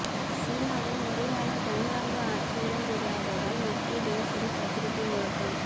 சீனாவில் முறையான ஜனநாயக ஆட்சி இடம்பெறாததால் மக்கள் தினசரி பத்திரிக்கை முழக்கம்